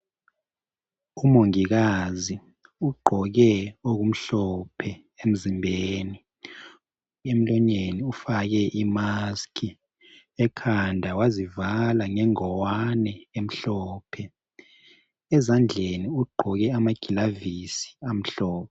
Umongikazi uqgoke okumhlophe emzimbeni emlonyeni ufake i maski ekhanda wazivala ngengowane emhlophe ezandleni uqgoke amagilavisi amhlophe